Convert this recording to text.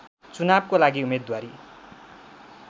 चुनावको लागि उम्मेद्वारी